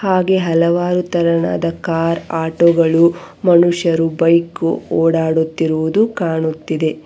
ಹಾಗೆ ಹಲವಾರು ತರನಾದ ಕಾರ್ ಆಟೋ ಗಳು ಮನುಷ್ಯರು ಬೈಕು ಓಡಾಡುತ್ತಿರುವುದು ಕಾಣುತ್ತಿದೆ.